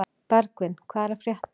Bergvin, hvað er að frétta?